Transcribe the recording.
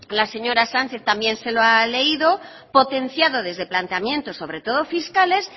la señora sánchez también se lo ha leído potenciado desde planteamientos sobre todo fiscales